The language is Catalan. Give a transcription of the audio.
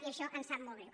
i això ens sap molt greu